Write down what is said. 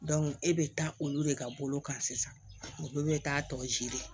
e bɛ taa olu de ka bolo kan sisan olu bɛ taa tɔw ji de